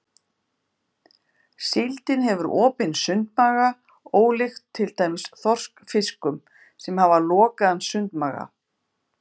Síldin hefur opinn sundmaga ólíkt til dæmis þorskfiskum sem hafa lokaðan sundmaga.